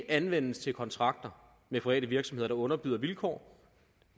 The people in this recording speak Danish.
anvendes til kontrakter med private virksomheder der underbyder vilkår